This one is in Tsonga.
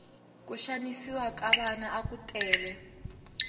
ku xanisiwa ka vana aku tele